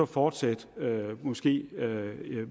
fortsætte måske